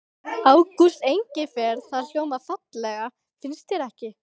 Ágústa Engifer. það hljómar fallega, finnst þér ekki?